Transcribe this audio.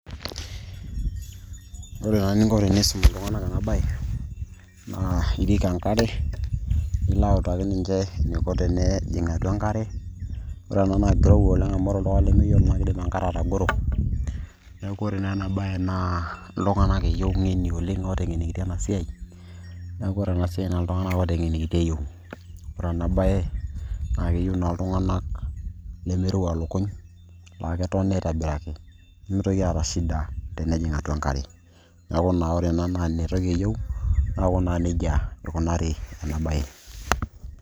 ore naa eninko tenisum iltung'anak ena baye naa irik enkare nilo autaki ninche eniko tenejing atua enkare ore ena naa kirowua oleng amu ore oltung'ani lemeyiolo naa kidim enkare atagoro neeku ore naa ena baye naa iltung'anak eyiu ng'eni oleng ooteng'enikitia ena siai neeku ore ena siai naa iltung'anak ooteng'enikitia eyieu ore ena baye naa keyieu naa iltung'anak lemeirowua ilukuny laa ketoni aitobiraki nemitoki aata shida tenejing atua enkare neeku naa ore ena naa ina toki eyieu neeku naa nejia ikunari ena baye.